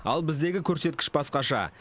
ал біздегі көрсеткіш басқаша